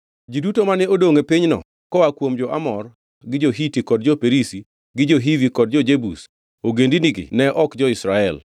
Ji duto mane odongʼ e pinyno koa kuom jo-Amor gi jo-Hiti kod jo-Perizi gi jo-Hivi kod jo-Jebus (ogendinigi ne ok jo-Israel),